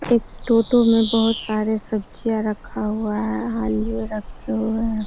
एक टोटो में बोहोत सारे सब्जियां रखा हुआ है। आलू रखे हुएं --